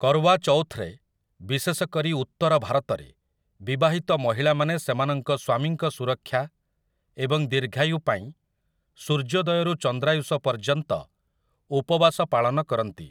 କର୍ୱା ଚୌଥରେ, ବିଶେଷକରି ଉତ୍ତର ଭାରତରେ, ବିବାହିତ ମହିଳାମାନେ ସେମାନଙ୍କ ସ୍ୱାମୀଙ୍କ ସୁରକ୍ଷା ଏବଂ ଦୀର୍ଘାୟୁ ପାଇଁ ସୂର୍ଯ୍ୟୋଦୟରୁ ଚନ୍ଦ୍ରାୟୁଷ ପର୍ଯ୍ୟନ୍ତ ଉପବାସ ପାଳନ କରନ୍ତି ।